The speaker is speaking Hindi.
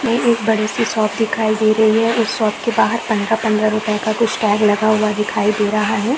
ये एक बडी सी शॉप दिखाई दे रही है इस शॉप के बाहर पंद्रह - पंद्रह रुपये का कुछ टैग लगा हुवा दिखाई दे रहा है।